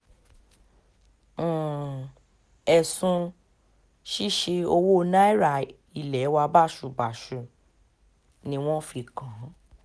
um ẹ̀sùn ṣíṣe owó náírà ilé wa báṣubàṣu um ni wọ́n fi kàn án